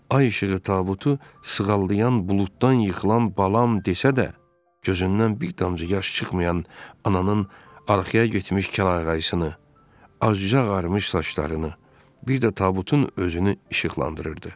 Ay işığı tabutu sığallayan buluddan yıxılan “balam” desə də, gözündən bir damcı yaş çıxmayan ananın arxaya getmiş kəllə-qaşısını, ağzıca ağarmış saçlarını, bir də tabutun özünü işıqlandırırdı.